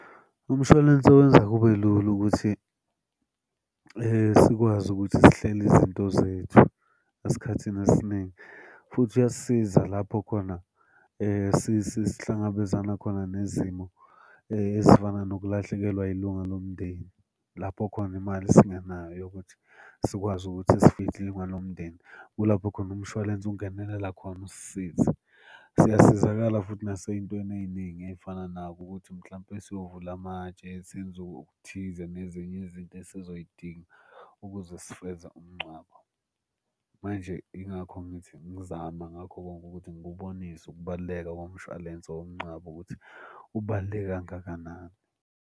Umshwalense wenza kube lula ukuthi sikwazi ukuthi sihlele izinto zethu, esikhathini esiningi, futhi uyasisiza lapho khona sihlangabezana khona nezimo ezifana nokulahlekelwa yilunga lomndeni lapho khona imali singenayo yokuthi sikwazi ukuthi sifihle ilunga lomndeni. Kulapho khona umshwalense ungenelela khona usisize. Siyasizakala futhi nasey'ntweni ey'ningi ey'fana nako ukuthi mhlampe siyovula amatshe senze okuthize nezinye izinto esizoy'dinga ukuze sifeza umngcwabo. Manje yingakho ngithi ngizama ngakho konke ukuthi ngikubonise ukubaluleka komshwalense womngcwabo ukuthi ubaluleke kangakanani.